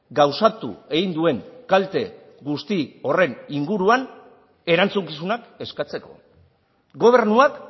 gauzatu egin duen kalte guzti horren inguruan erantzukizunak eskatzeko gobernuak